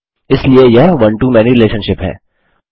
इसलिए यह one to many relationship है